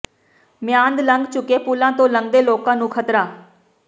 ਮਿਆਦ ਲੰਘ ਚੁੱਕੇ ਪੁਲਾਂ ਤੋਂ ਲੰਘਦੇ ਲੋਕਾਂ ਨੂੰ ਖ਼ਤਰਾ